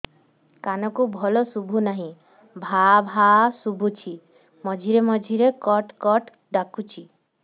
କାନକୁ ଭଲ ଶୁଭୁ ନାହିଁ ଭାଆ ଭାଆ ଶୁଭୁଚି ମଝିରେ ମଝିରେ କଟ କଟ ଡାକୁଚି